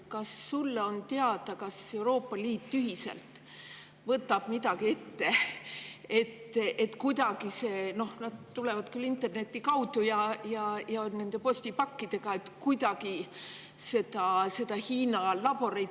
Kas sulle on teada, kas Euroopa Liit võtab ühiselt midagi ette, et kuidagi – need tulevad küll internetist postipakkidega – seda takistada?